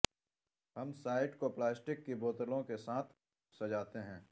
ہم سائٹ کو پلاسٹک کی بوتلوں کے ساتھ سجاتے ہیں